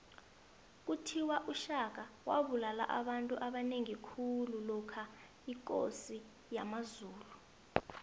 kuthiwa ushaka wabulala abantu abanengi khulu lokha yikosi yamazulu